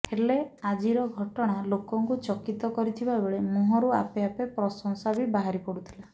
ହେଲେ ଆଜିର ଘଟଣା ଲୋକଙ୍କୁ ଚକିତ କରିଥିବା ବେଳେ ମୁହଁରୁ ଆପେ ଆପେ ପ୍ରଶଂସା ବି ବାହାରି ପଡ଼ୁଥିଲା